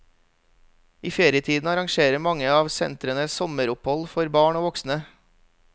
I ferietiden arrangerer mange av sentrene sommeropphold for barn og voksne.